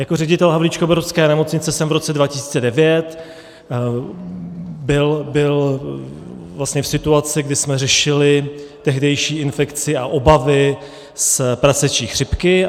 Jako ředitel havlíčkobrodské nemocnice jsem v roce 2009 byl v situaci, kdy jsme řešili tehdejší infekci a obavy z prasečí chřipky.